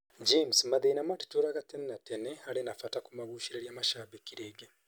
James: Mathĩna matitũraga tene na tene: harĩ na bata kũmagucĩrĩria mashambĩki rĩngĩ: